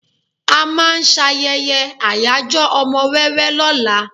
À máà ń ṣayẹyẹ ayajo ọmọ wẹ́wẹ́ lóla.